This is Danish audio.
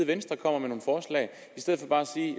venstre kommer med